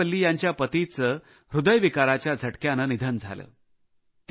अमूर्था वल्ली यांच्या पतीचे हृदयविकाराच्या झटक्याने निधन झाले